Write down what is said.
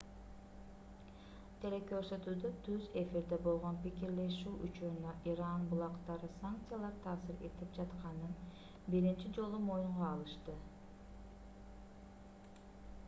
телекөрсөтүүдө түз эфирде болгон пикирлешүү учурунда иран булактары санкциялар таасир этип жатканын биринчи жолу моюнга алышты